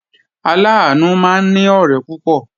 Aláàánú máa ní ọ̀rẹ́ púpọ̀